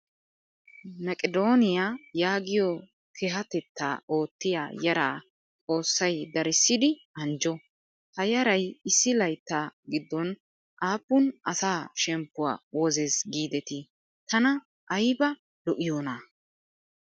Meqedooniyaa yaagiyoo kehatetta oottiyaa yaraa xoossayi darissidi anjjo. Ha yarayi issi layittaa giddon aappun asaa shemppuwaa wozes giidetii tana ayiba lo''iyoonaa!